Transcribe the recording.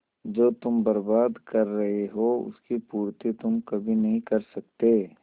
जो तुम बर्बाद कर रहे हो उसकी पूर्ति तुम कभी नहीं कर सकते